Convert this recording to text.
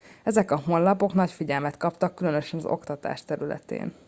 ezek a honlapok nagy figyelmet kaptak különösen az oktatás területén